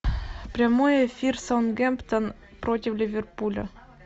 прямой эфир саутгемптон против ливерпуля